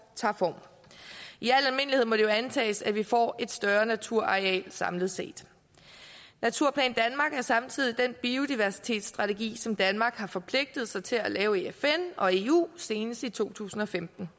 tager form i al almindelighed må det jo antages at vi får et større naturareal samlet set naturplan danmark er samtidig den biodiversitetsstrategi som danmark har forpligtet sig til at lave i fn og i eu senest i to tusind og femten